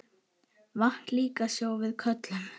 Vatn líka sjó við köllum.